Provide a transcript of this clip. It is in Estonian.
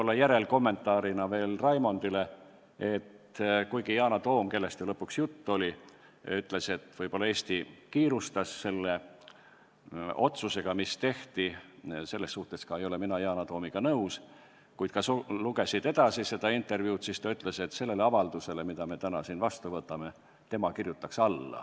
Ja järelkommentaarina Raimondile ütlen veel seda, et kuigi Yana Toom, kellest ju lõpuks juttu oli, ütles, et võib-olla Eesti kiirustas selle otsusega, mis tehti – selles suhtes ei ole ma ka Yana Toomiga nõus –, siis ta lisas – kui sa seda intervjuud edasi lugesid –, et sellele avaldusele, mille me täna siin vastu võtame, kirjutaks tema alla.